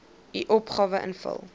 u opgawe invul